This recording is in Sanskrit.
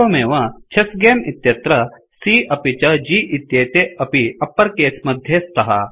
एवमेव चेस्स्गमे इत्यत्र C अपि च G इत्येते अपि अप्पर केस मध्ये स्तः